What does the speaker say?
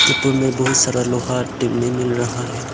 ऊपर मे बहुत सारा लोहा टेने मिल रहा है।